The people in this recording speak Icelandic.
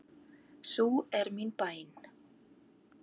Sú er mín bæn.